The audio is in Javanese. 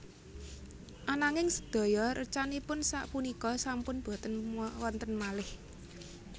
Ananging sedaya recanipun sak punika sampun boten wonten malih